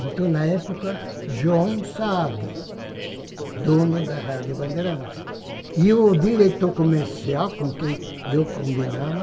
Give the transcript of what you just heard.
Então, na época, João Saad, dono da Rádio Bandeirantes, e o diretor comercial com quem eu combinava,